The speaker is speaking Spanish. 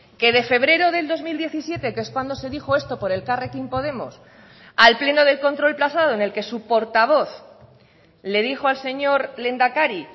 que de febrero del dos mil diecisiete que es cuando se dijo esto por elkarrekin podemos al pleno del control pasado en el que su portavoz le dijo al señor lehendakari